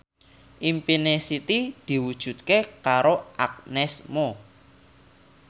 impine Siti diwujudke karo Agnes Mo